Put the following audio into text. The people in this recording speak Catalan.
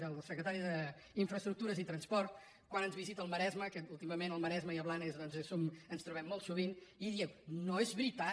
el secretari d’infraestructures i transport quan ens visita al maresme que últimament al maresme i a blanes doncs ens trobem molt sovint i deien no és veritat